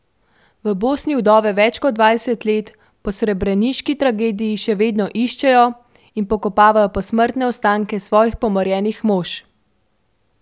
V Bosni vdove več kot dvajset let po srebreniški tragediji še vedno iščejo in pokopavajo posmrtne ostanke svojih pomorjenih mož.